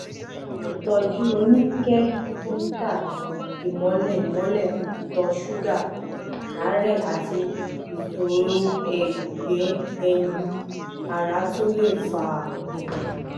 ìtọ́jú oníkẹ́míkà ìmọ́lẹ̀ ìmọ́lẹ̀ ìtọ̀ ṣúgà àárẹ̀ àti ìṣòro ẹ̀gbẹ́ ẹ̀yìn ara tún lè fa èyí